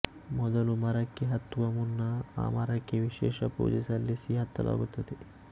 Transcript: ಮೊದಲು ಮರಕ್ಕೆ ಹತ್ತುವ ಮುನ್ನ ಆ ಮರಕ್ಕೆ ವಿಶೇಷ ಪೂಜೆ ಸಲ್ಲಿಸಿ ಹತ್ತಲಾಗುತ್ತದೆ